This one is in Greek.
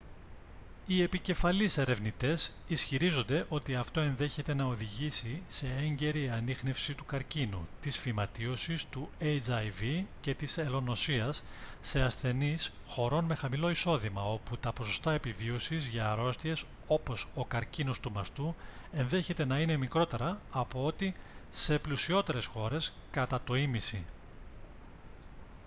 οι επικεφαλής ερευνητές ισχυρίζονται ότι αυτό ενδέχεται να οδηγήσει σε έγκαιρη ανίχνευση του καρκίνου της φυματίωσης του hiv και της ελονοσίας σε ασθενείς χωρών με χαμηλό εισόδημα όπου τα ποσοστά επιβίωσης για αρρώστιες όπως ο καρκίνος του μαστού ενδέχεται να είναι μικρότερα από ό,τι σε πλουσιότερες χώρες κατά το ήμισυ